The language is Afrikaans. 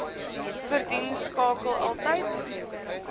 verdien skakel altyd